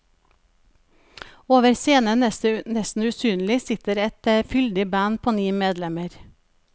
Over scenen, nesten usynlig, sitter et fyldig band på ni medlemmer.